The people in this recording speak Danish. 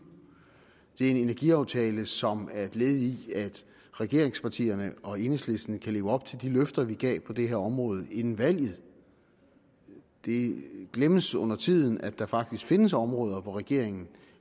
energiaftale som er et led i at regeringspartierne og enhedslisten kan leve op til de løfter vi gav på det her område inden valget det glemmes undertiden at der faktisk findes områder hvor regeringen